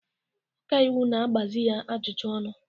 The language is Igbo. Ọka iwu ị ga-agbazị ya ajụjụ ọnụ!